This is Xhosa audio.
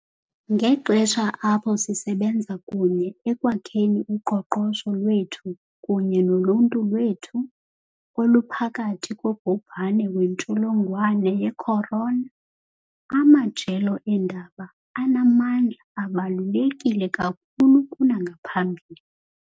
Ngexesha apho sisebenza kunye ekwakheni uqoqosho lwethu kunye noluntu lwethu oluphakathi kobhubhane wentsholongwane ye-corona, amajelo eendaba anamandla abaluleke kakhulu kunangaphambili.